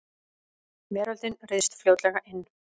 Veröldin ryðst fljótlega inn.